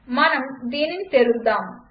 మనం దీనిని తెరుద్దాం